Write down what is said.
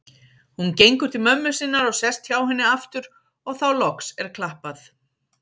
Hún gengur til mömmu sinnar og sest hjá henni aftur og þá loks er klappað.